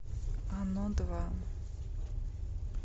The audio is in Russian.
оно два